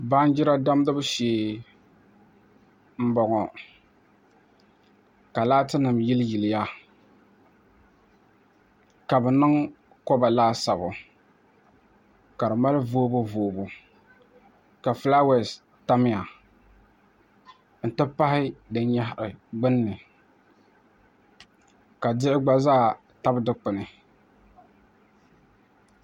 Baanjira damgibu shee n bɔŋɔ ka laati nim yili yiliya ka bi niŋ koba laasabu ka di mali voobu voobu ka fulaawɛs tamya n ti pahi din nyahari gbunni ka diɣi gba zaa tabi Dikpuni